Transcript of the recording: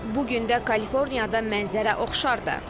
Bu gün də Kaliforniyada mənzərə oxşardır.